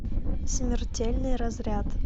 смертельный разряд